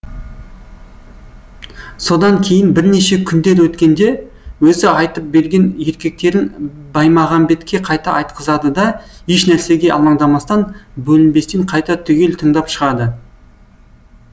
содан кейін бірнеше күндер өткенде өзі айтып берген ертектерін баймағамбетке қайта айтқызады да ешнәрсеге алаңдамастан бөлінбестен қайта түгел тыңдап шығады